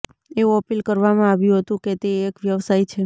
એવું અપીલ કરવામાં આવ્યું હતું કે તે એક વ્યવસાય છે